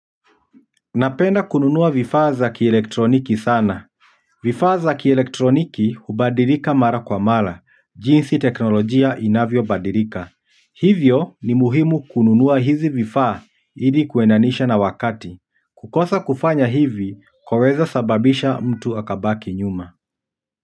Napenda kununua vifaa za kielektroniki sana. Vifa za kielektroniki, hubadilika mara kwa mara, jinsi teknolojia inavyobadilika. Hivyo, ni muhimu kununua hizi vifaa, ili kuendanisha na wakati kukosa kufanya hivi, kwaweza sababisha mtu akabaki nyuma.